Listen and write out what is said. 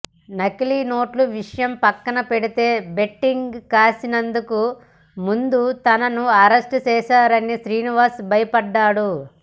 నకిలీ నోట్ల విషయం పక్కన పెడితే బెట్టింగ్ కాసినందుకు ముందు తనను అరెస్ట్ చేస్తారని శ్రీనివాస్ భయపడ్డాడు